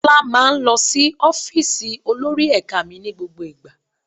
Tọ́lá máa ń lọ sí ọ́fíìsì olórí ẹ̀ka mi ní gbogbo ìgbà.